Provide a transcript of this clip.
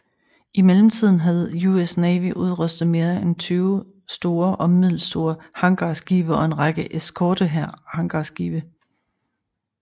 I mellemtiden havde US Navy udrustet mere end 20 store og middelstore hangarskibe og en række eskortehangarskibe